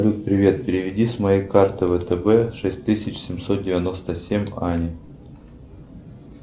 салют привет переведи с моей карты втб шесть тысяч семьсот девяносто семь ане